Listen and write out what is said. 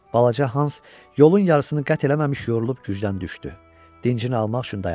Balaca Hans yolun yarısını qət eləməmiş yorulub gücdən düşdü, dincini almaq üçün dayandı.